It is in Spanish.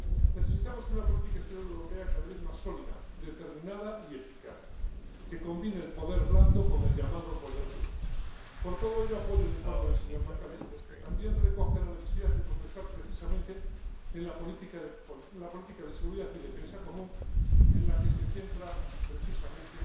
Necesitamos una política exterior europea cada vez más sólida, determinada y eficaz, que combine el poder blando con el llamado poder duro. Por todo ello, apoyo el informe del señor McAllister, que también recoge la necesidad de progresar precisamente en la política de seguridad y defensa común, en la que se centra precisamente